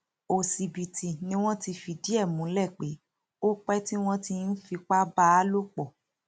òṣìbìtì ni wọn ti fìdí ẹ múlẹ pé ó pẹ tí wọn ti ń fipá bá a lò pọ